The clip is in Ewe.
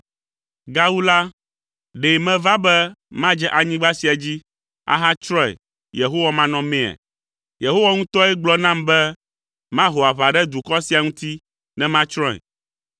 Gawu la, ɖe meva be madze anyigba sia dzi, ahatsrɔ̃e Yehowa manɔmea? Yehowa ŋutɔe gblɔ nam be maho aʋa ɖe dukɔ sia ŋuti ne matsrɔ̃e.’ ”